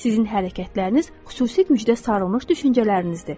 Sizin hərəkətləriniz xüsusi müjdə sarılmış düşüncələrinizdir.